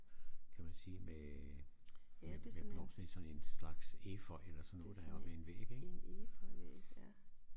Kan man sige med med med blomster i sådan en slags efeu eller sådan noget der er op ad en væg ik